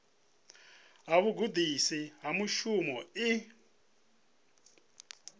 ya vhugudisi ha mushumo i